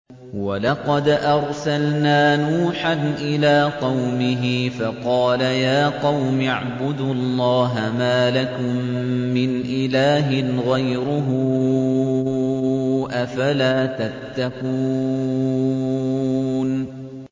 وَلَقَدْ أَرْسَلْنَا نُوحًا إِلَىٰ قَوْمِهِ فَقَالَ يَا قَوْمِ اعْبُدُوا اللَّهَ مَا لَكُم مِّنْ إِلَٰهٍ غَيْرُهُ ۖ أَفَلَا تَتَّقُونَ